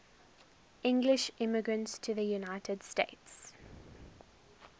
english immigrants to the united states